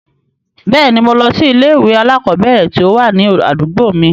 Bẹ́ẹ̀ ni, mo lọ sí ilé-ìwé alákọ̀ọ́bẹ̀ẹ̀rẹ̀ tí ó wà ní àdúgbò mi.